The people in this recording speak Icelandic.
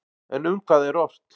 En um hvað er ort?